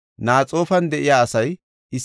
Hariman de7iya asay 320;